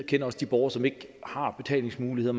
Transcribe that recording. kender også de borgere som ikke har betalingsmuligheder